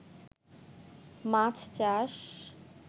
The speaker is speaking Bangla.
মাছ চাষ